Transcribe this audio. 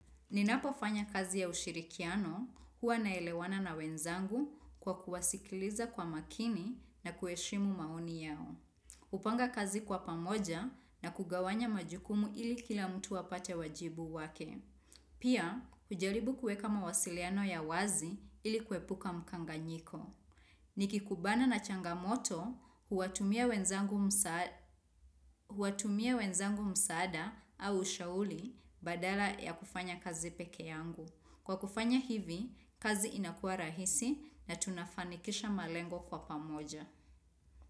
Ninapo fanya kazi ya ushirikiano huwa naelewana na wenzangu kwa kuwasikiliza kwa makini na kueshimu maoni yao. Kupanga kazi kwa pamoja na kugawanya majukumu ili kila mtu wapate wajibu wake. Pia, kujaribu kueka mawasiliano ya wazi ili kwepuka mkanganyiko. Ni kikubana na changamoto huwatumia wezangu huwatumia wenzangu msaada au shauli badala ya kufanya kazi peke yangu. Kwa kufanya hivi, kazi inakua rahisi na tunafanikisha malengo kwa pamoja.